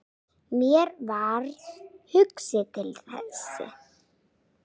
Mér varð hugsað til Þessi!